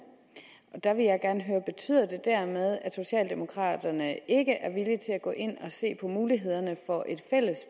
der vil jeg gerne høre betyder det dermed at socialdemokraterne ikke er villige til at gå ind og se på mulighederne for et fælles